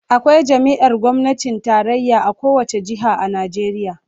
Akwai jami'ar gwamnatin tarayya a kowace jiha a Najeriya